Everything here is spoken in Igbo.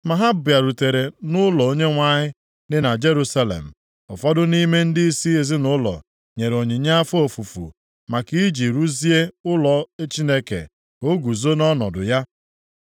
Mgbe ha bịarutere nʼụlọ Onyenwe anyị dị na Jerusalem, ụfọdụ nʼime ndịisi ezinaụlọ nyere onyinye afọ ofufu maka i ji rụzie ụlọ Chineke ka o guzo nʼọnọdụ ya.